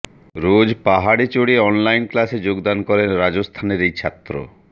রোজ পাহাড়ে চড়ে অনলাইন ক্লাসে যোগদান করেন রাজস্থানের এই ছাত্র